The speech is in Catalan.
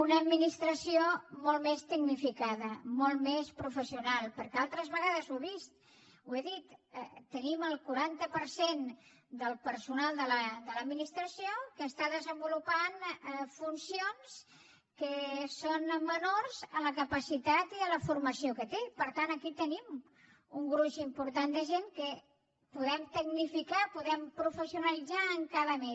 una administració molt més tecnificada molt més professional perquè altres vegades ho he dit tenim el quaranta per cent del personal de l’administració que està desenvolupant funcions que són menors a la capacitat i a la formació que té per tant aquí tenim un gruix important de gent que podem tecnificar podem professionalitzar encara més